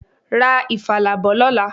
Ra ifala bọ̀ lọ́la.